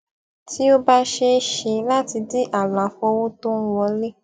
tí ó bá ṣe é ṣe láti di àlàfo owó tó ń wọlé